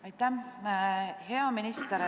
Aitäh!